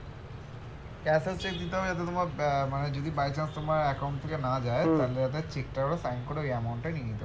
cancelled cheque দিতে হবে এতো তোমার আহ মানে যদি by chance তোমার account থেকে না যায় তাহলে ওটা cheque টা ওরা sign করে ওই amount টা নিয়ে নিতে পারবে